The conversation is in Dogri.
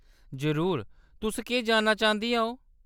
जरूर, तुस केह्‌‌ जानना चांह्‌‌‌दियां ओ?